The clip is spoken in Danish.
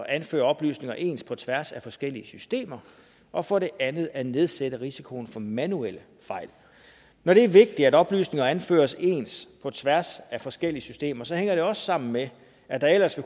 anføre oplysninger ens på tværs af forskellige systemer og for det andet for at nedsætte risikoen for manuelle fejl når det er vigtigt at oplysninger anføres ens på tværs af forskellige systemer hænger det også sammen med at der ellers